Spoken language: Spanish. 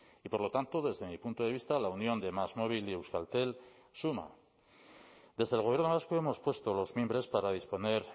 y por lo tanto desde mi punto de vista la unión de másmóvil y euskaltel suma desde el gobierno vasco hemos puesto los mimbres para disponer